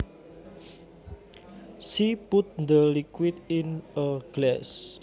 She put the liquid in a glass